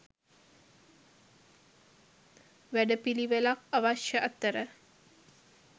වැඩපිළිවෙලක් අවශ්‍ය අතර